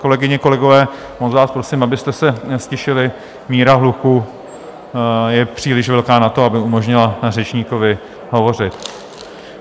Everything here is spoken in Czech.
Kolegyně, kolegové, moc vás prosím, abyste se ztišili, míra hluku je příliš velká na to, aby umožnila řečníkovi hovořit.